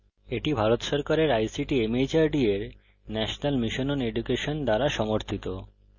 এটি ভারত সরকারের ict mhrd এর national mission on education দ্বারা সমর্থিত